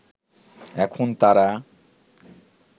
এখন তারা